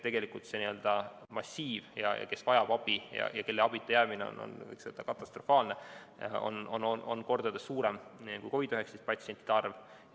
Tegelikult see n‑ö massiiv, kes vajab abi ja kelle abita jäämine on, võiks öelda, katastrofaalne, on mitu korda suurem kui COVID‑19 patsientide arv.